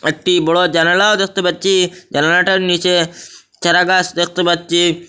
একটি বড় জানালাও দেখতে পাচ্ছি জানালাটার নীচে চারাগাছ দেখতে পাচ্ছি।